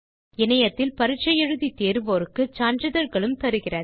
இணையத்தில் பரிட்சை எழுதி தேர்வோருக்கு சான்றிதழ்களும் தருகிறது